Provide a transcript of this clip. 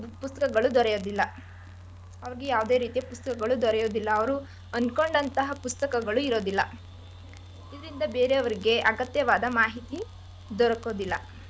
ಪುಸ್ತಕಗಳು ದೊರೆಯೊದಿಲ್ಲ, ಅವ್ರ್ಗೆ ಯಾವದೆ ರೀತಿಯ ಪುಸ್ತಕಗಳು ದೊರೆಯೊದಿಲ್ಲ ಅವ್ರು ಅನ್ಕೊಂಡಂತಹ ಪುಸ್ತಕಗಳು ಇರೋದಿಲ್ಲ ಇದ್ರಿಂದ ಬೇರೆಯವ್ರ್ಗೆ ಅಗತ್ಯವಾದ ಮಾಹಿತಿ ದೊರಕೊದಿಲ್ಲ.